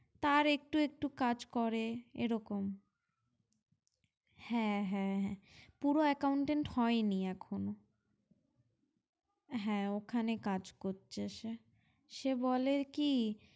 তার একটু একটু কাজ করে এরকম হ্যাঁ হ্যাঁ হ্যাঁ পুরো accountant হয়নি এখনো হ্যাঁ ওখানে কাজ করছে সে, সে বলে কি